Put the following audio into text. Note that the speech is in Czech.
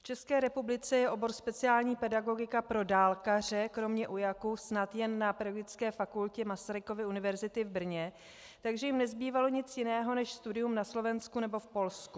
V České republice je obor speciální pedagogika pro dálkaře kromě UJAK snad jen na Pedagogické fakultě Masarykovy univerzity v Brně, takže jim nezbývalo nic jiného než studium na Slovensku nebo v Polsku.